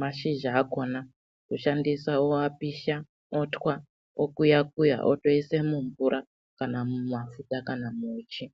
mashizha akona kushandisa oapisha otwa okuyaya-kuya otoise mumvura kana mumafuta kana muuchi.